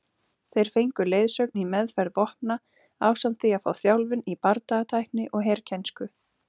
Þeir fengu leiðsögn í meðferð vopna ásamt því að fá þjálfun í bardagatækni og herkænsku.